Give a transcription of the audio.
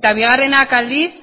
eta bigarrenak aldiz